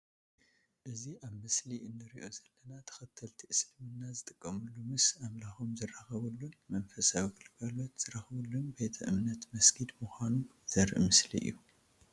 እዚ ኣብ ምስሊ እንሪኦ ዘለና ተኸተልቲ እስልምና ዝጥቀምሉ ምስ ኣምላኾም ዝዘራረብሉን መንፈሳዊ ግልጋሎት ዝረኽብሉን ቤተ እምነት መስጊድ ምዃኑ ዘርኢ ምስሊ እዩ።